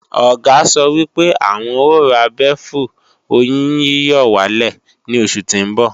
Ọ̀gá sọ wípé àwọn o ra bẹ́fù-oníyíyọ̀wálẹ̀ ní oṣù tí ń bọ̀